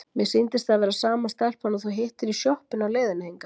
Mér sýndist það vera sama stelpan og þú hittir í sjoppunni á leiðinni hingað.